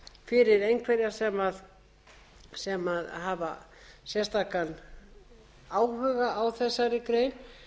fyrir einhverja sem hafa sérstakan áhuga á þessari grein